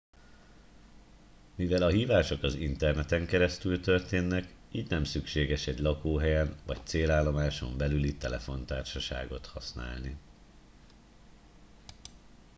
mivel a hívások az interneten keresztül történnek így nem szükséges egy lakóhelyen vagy célállomáson belüli telefontársaságot használni